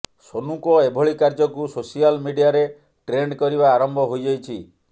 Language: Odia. ସୋନୁଙ୍କ ଏଭଳି କାର୍ଯ୍ୟଙ୍କୁ ସୋସିଆଲ ମିଡିଆରେ ଟ୍ରେଣ୍ଡ କରିବା ଆରମ୍ଭ ହୋଇଯାଇଛି